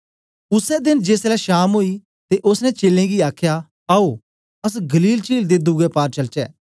उसै देन जेसलै शाम ओई ते ओसने चेलें गी आखया आओ अस गलील चील दे दुवे पार चलचे